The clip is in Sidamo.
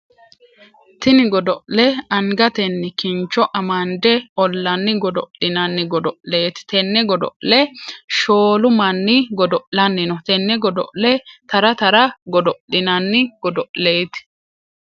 Tinni godo'le angatenni kincho amande olanni godo'linnanni godo'leeti. Tenne godo'le shoolu manni godo'lanni no. Tenne godo'le Tara Tara godo'linnanni godo'leeti.